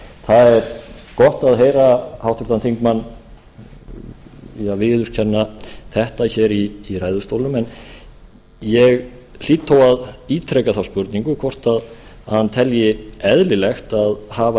það er gott að heyra háttvirtan þingmann viðurkenna þetta hér í ræðustólnum en ég hlýt þó að ítreka þá spurningu hvort hann telji eðlilegt að hafa